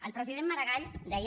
el president maragall deia